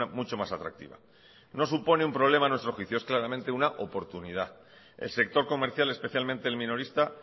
mucho más atractiva no supone un problema a nuestro juicio es claramente una oportunidad el sector comercial especialmente el minorista